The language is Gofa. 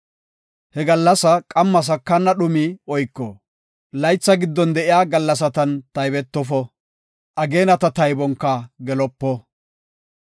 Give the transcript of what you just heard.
He gallasaa qamma sakana dhumi oyko. Laytha giddon de7iya gallasatan taybetofo; ageenata taybonka gelopo.